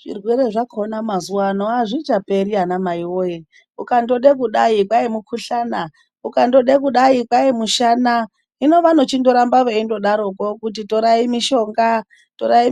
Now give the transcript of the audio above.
Zvirwere zvakona mazuva ano azvichaperi ana mai woye ukada kudai kwai mukuhlana ukade kudai kwai mushana hino vanochiramba vachidaroko kuti torai